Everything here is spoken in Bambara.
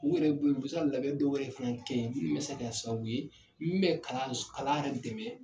U yɛrɛ bolo ,u bɛ se ka labɛn dɔ wɛrɛ fana kɛ. Min bɛ se ka kɛ sababu ye, min bɛ kalan kalan yɛrɛ dɛmɛ